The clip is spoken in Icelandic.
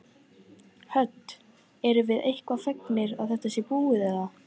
Hödd: Eruð þið eitthvað fegnar að þetta sé búið eða?